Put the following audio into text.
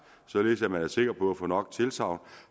således at man er sikker på at få nok tilsagn